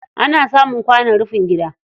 Ana samun kwanon rufin gida.